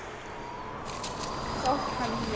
Næsta morgun sótti hann mig.